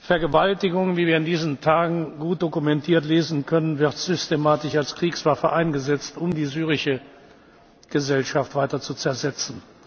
Vergewaltigung wie wir in diesen Tagen gut dokumentiert lesen können wird systematisch als Kriegswaffe eingesetzt, um die syrische Gesellschaft weiter zu